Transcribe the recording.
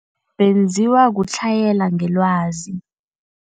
Benziwa kutlhayela ngelwazi.